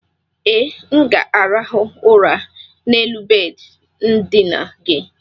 e, m ga-arahụ ụra n'elu bedị ndina gị.